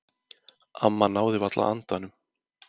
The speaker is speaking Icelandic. Amma náði varla andanum.